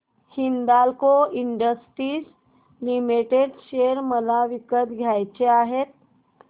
Hindalco industries limited share मला विकत घ्यायचे आहेत